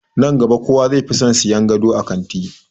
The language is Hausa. Nan gaba kowa zai fi son sayan gado a kanti.